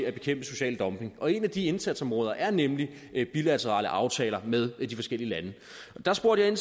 at bekæmpe social dumping og et af de indsatsområder er nemlig bilaterale aftaler med de forskellige lande jeg spurgte